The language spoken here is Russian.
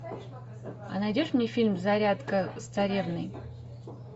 а найдешь мне фильм зарядка с царевной